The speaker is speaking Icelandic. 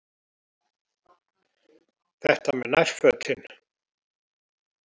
Þetta með nærfötin.